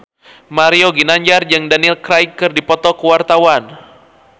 Mario Ginanjar jeung Daniel Craig keur dipoto ku wartawan